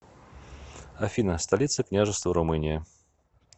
афина столица княжество румыния